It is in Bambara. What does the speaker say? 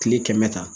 Kile kɛmɛ kan